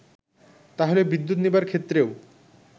তাহলে বিদ্যুৎ নেবার ক্ষেত্রেও